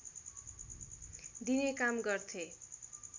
दिने काम गर्थे